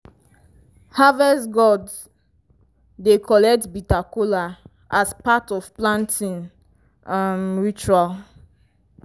harvest gods dey collect bitter kola as part of planting um ritual.